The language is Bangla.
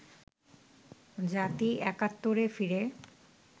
জাতি একাত্তরে ফিরে